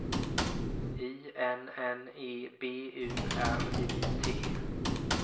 I N N E B U R I T